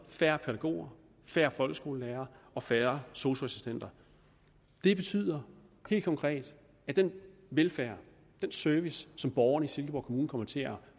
færre pædagoger færre folkeskolelærere og færre sosu assistenter det betyder helt konkret at den velfærd den service som borgerne i silkeborg kommune kommer til at